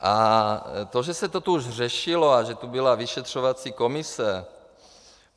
A to, že se to tu už řešilo a že tu byla vyšetřovací komise...